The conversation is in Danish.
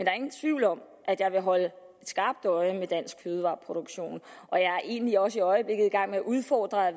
er ingen tvivl om at jeg vil holde et skarpt øje med dansk fødevareproduktion og jeg er egentlig også i øjeblikket i gang med at udfordre